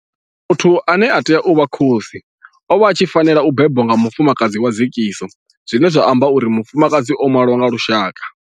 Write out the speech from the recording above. Muthu ane a tea u vha khosi o vha a tshi fanela u bebwa nga mufumakadzi wa dzekiso zwine zwa amba uri mufumakadzi o malwa nga lushaka.